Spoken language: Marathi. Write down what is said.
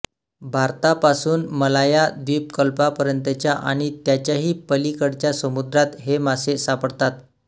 भारतापासून मलाया द्वीपकल्पापर्यंतच्या आणि त्याच्याही पलीकडच्या समुद्रात हे मासे सापडतात